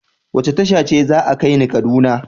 Wace tasha ce za a kai ni kaduna?